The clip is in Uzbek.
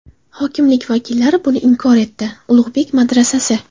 Hokimlik vakillari buni inkor etdi Ulug‘bek madrasasi.